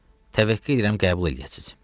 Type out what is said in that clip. Təvəqqə edirəm qəbul eləyəsiz.